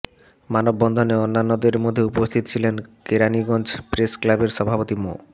মানববন্ধনে অন্যান্যদের মধ্যে উপস্থিত ছিলেন কেরানীগঞ্জ প্রেসক্লাবের সভাপতি মো